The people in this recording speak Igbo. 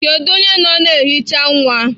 Kedu onye nọ na nhicha nwa?